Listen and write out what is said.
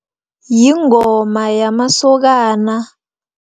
Yingoma yamasokana.